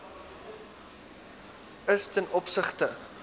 is ten opsigte